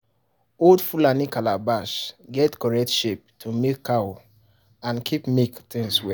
old fulani calabash get correct shape to milk cow and keep milk things well.